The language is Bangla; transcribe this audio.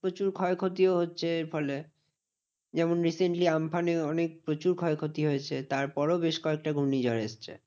প্রচুর ক্ষয়ক্ষতিও হচ্ছে এর ফলে। যেমন recently আম্ফানে অনেক প্রচুর ক্ষয়ক্ষতি হয়েছে। তার পরেও বেশ কয়েকটা ঘূর্ণিঝড় এসেছে।